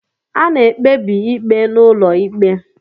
A na-ekpebi ikpe n'ụlọ ikpe